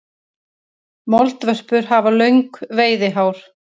Moldvörpur hafa löng veiðihár.